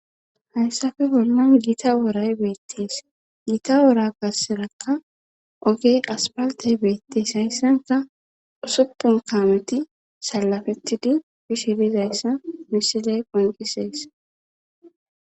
Hayssafe bollan giita woray beettees. Giita wora garssaakka oge aspaltey beettes. Hayssappe usuppun kaameti salafettidi bishe diza issa misiley qoncisees.